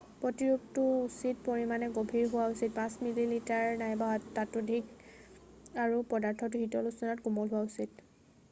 প্ৰতিৰূপটো উচিত পৰিমাণে গভীৰ হোৱা উচিত 5 মিলিমিটাৰ 1/5 ইঞ্চি নাইবা ততোধিক আৰু পদাৰ্থটো শীতল উষ্ণতাত কোমল হোৱা উচিত।